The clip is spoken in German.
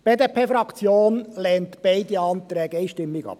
Die BDP-Fraktion lehnt beide Anträge einstimmig ab.